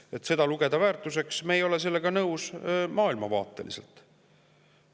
Sellega, et seda loetakse väärtuseks, me ei ole maailmavaateliselt nõus.